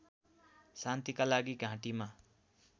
शान्तिका लागि घाँटीमा